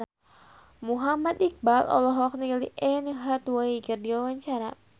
Muhammad Iqbal olohok ningali Anne Hathaway keur diwawancara